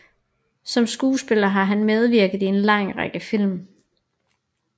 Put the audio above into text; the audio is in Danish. Som skuespiller har han medvirket i en lang række film